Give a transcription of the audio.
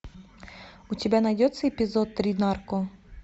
у тебя найдется эпизод три нарко